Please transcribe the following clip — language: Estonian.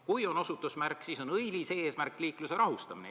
Kui on osutusmärk, siis on õilis eesmärk ehk liikluse rahustamine.